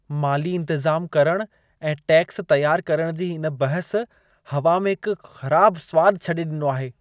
माली इंतज़ाम करणु ऐं टैक्स तयार करणु जी इन बहस हवा में हिकु ख़राब सवादु छॾे ॾिनो आहे।